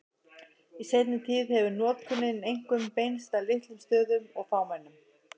Í seinni tíð hefur notkunin einkum beinst að litlum stöðum og fámennum.